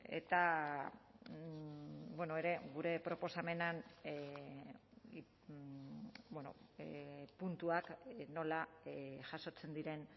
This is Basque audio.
eta ere gure proposamenean puntuak nola jasotzen diren